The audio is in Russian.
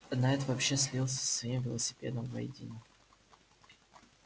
найд вообще слился со своим велосипедом воедино